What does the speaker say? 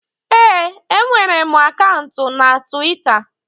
Ee, enwere m akaụntụ na Tiwita